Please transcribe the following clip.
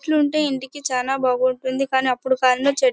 ఇట్లుంటే ఇంటికి చానా బాగుంటుంది. కానీ అప్పుడు చెట్టు --